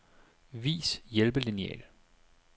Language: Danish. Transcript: Vis hjælpelineal.